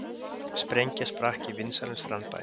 Sprengja sprakk í vinsælum strandbæ